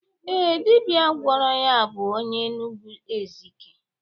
Ee, dibia gwọrọ ya bụ onye Enugwu Ezike